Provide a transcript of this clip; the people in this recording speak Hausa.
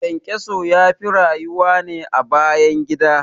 ƘyanƘyaso yafi rayuwa ne a bayan gida